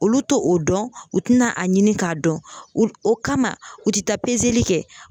Olu tɛ o dɔn, u tɛna a ɲini k'a dɔn ,o kama u tɛ taa kɛ.